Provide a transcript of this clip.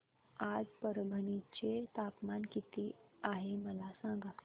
आज परभणी चे तापमान किती आहे मला सांगा